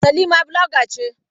Salima bloga ce.